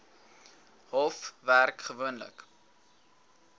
hof werk gewoonlik